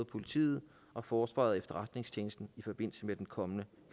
politiet og forsvaret og efterretningstjenesten i forbindelse med den kommende